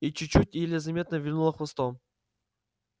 и чуть-чуть еле заметно вильнула хвостом